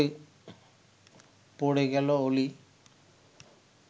পড়ে গেল অলি